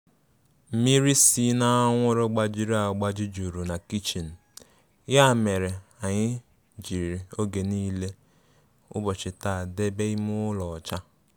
Mmịrị sị na anwụrụ gbajịrị agbajị juru na kichin ya mere anyị jiri oge nile ubochi taa debe ime ụlọ ọcha